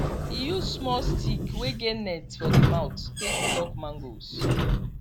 he use small stick wey get net for the mouth take pluck mangoes